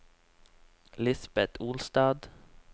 Lisbeth Olstad